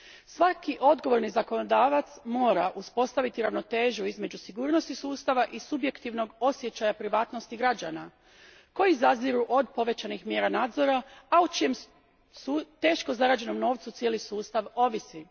Svaki odgovorni zakonodavac mora uspostaviti ravnotežu između sigurnosti sustava i subjektivnog osjećaja privatnosti građana koji zaziru od povećanih mjera nadzora, a o čijem teško zarađenom novcu cijeli sustav ovisi.